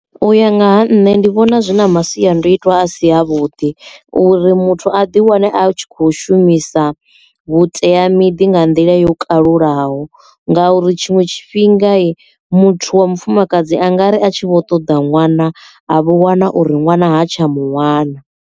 U ya nga ha nṋe ndi vhona zwi na masiandoitwa a si a vhuḓi uri muthu a di wane a tshi kho shumisa vhuteamiḓi nga nḓila yo kalulaho ngauri tshiṅwe tshifhinga muthu wa mufumakadzi a ngari a tshi vho ṱoḓa ṅwana a vho wana uri ṅwana ha tsha muwana.